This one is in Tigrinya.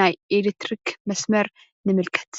ናይ አሌትሪክ መስመር ንምልከት፡፡